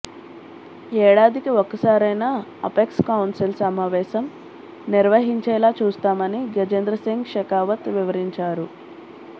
ఏడాదికి ఒకసారైనా apex council సమావేశం నిర్వహించేలా చూస్తామని గజేంద్రసింగ్ షెకావత్ వివరించారు